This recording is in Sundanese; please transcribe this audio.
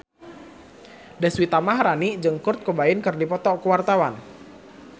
Deswita Maharani jeung Kurt Cobain keur dipoto ku wartawan